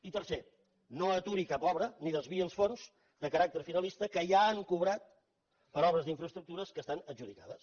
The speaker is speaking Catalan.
i tercer no aturi cap obra ni desviï els fons de caràcter finalista que ja han cobrat per obres d’infraestructures que estan adjudicades